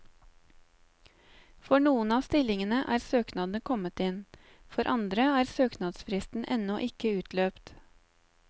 For noen av stillingene er søknadene kommet inn, for andre er søknadsfristen ennå ikke utløpt.